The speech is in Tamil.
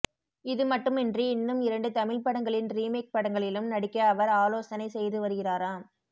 இதுமட்டுமின்றி இன்னும் இரண்டு தமிழ் படங்களின் ரீமேக் படங்களிலும் நடிக்க அவர் ஆலோசனை செய்து வருகிறாராம்